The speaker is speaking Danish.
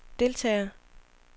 deltagere